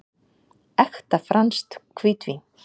Ekta franskt hvítvín.